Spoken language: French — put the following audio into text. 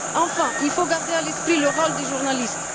Enfin, il faut garder à l'esprit le rôle des journalistes.